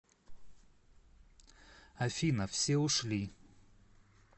афина все ушли